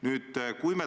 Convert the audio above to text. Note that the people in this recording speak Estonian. Nüüd tunnelist.